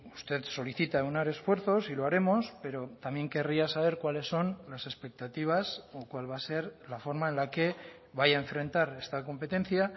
usted solicita aunar esfuerzos y lo haremos pero también querría saber cuáles son las expectativas o cuál va a ser la forma en la que vaya a enfrentar esta competencia